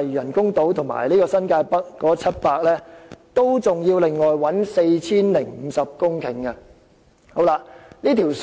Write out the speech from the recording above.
嶼都會和新界北所得的土地，還要另外尋找 4,050 公頃土地以應付所需。